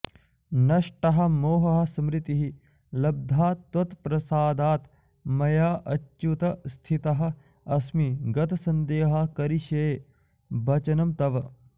नष्टः मोहः स्मृतिः लब्धा त्वत्प्रसादात् मया अच्युत स्थितः अस्मि गतसन्देहः करिष्ये वचनं तव